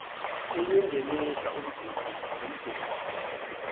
ukuwungenisa umgudu nomgudu